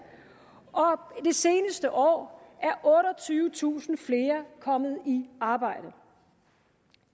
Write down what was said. det seneste år er otteogtyvetusind flere kommet i arbejde